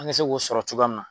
An ka se k'o sɔrɔ cogoya min na.